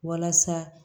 Walasa